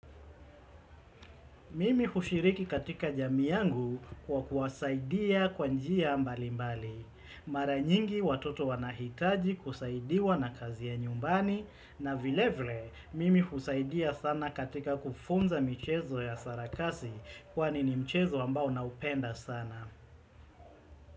Mimi hushiriki katika jamii yangu kwa kuwasaidia kwa njia mbali mbali. Mara nyingi watoto wanahitaji kusaidiwa na kazi ya nyumbani. Na vilevile, mimi husaidia sana katika kufunza michezo ya sarakasi kwani ni mchezo ambao naupenda sana.